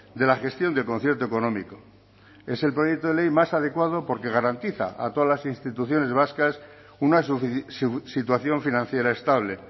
de la gestión del concierto económico es el proyecto de ley más adecuado porque garantiza a todas las instituciones vascas una situación financiera estable